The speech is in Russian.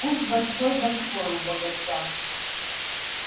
куст большой-большой у богача